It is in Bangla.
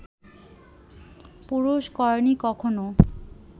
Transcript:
পুরুষ করেনি কখনও